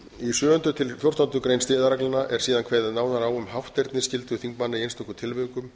í sjöundu til fjórtándu greinar siðareglnanna er síðan kveðið nánar á um hátterni skyldur þingmanna í einstöku tilvikum